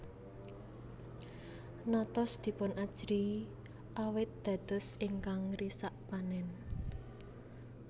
Notos dipunajrihi awit dados ingkang ngrisak panen